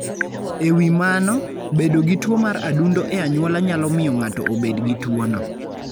E wi mano, bedo gi tuo mar adundo e anyuola nyalo miyo ng'ato obed gi tuwono.